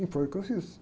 E foi o que eu fiz.